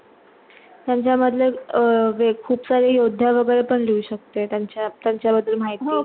त्यांच्या मधले खूप सारे योध्या वागेरे पण लिहू शकते, त्यांचा त्यांच्या मधून माहिती